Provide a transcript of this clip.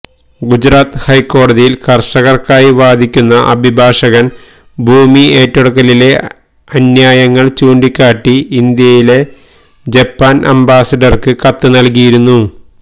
ഗുജറാത്ത് ഹൈക്കോടതിയില് കര്ഷകര്ക്കായി വാദിക്കുന്ന അഭിഭാഷകന് ഭൂമി ഏറ്റെടുക്കലിലെ അന്യായങ്ങള് ചൂണ്ടിക്കാട്ടി ഇന്ത്യയിലെ ജപ്പാന് അംബാസിഡര്ക്ക് കത്ത് നല്കിയിരുന്നു